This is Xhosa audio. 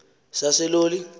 saseloli